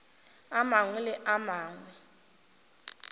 a mangwe le a mangwe